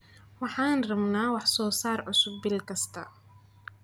Waxaan rabnaa wax soo saar cusub bil kasta.